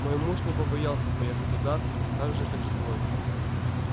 мой муж не побоялся поехать туда так же как и твой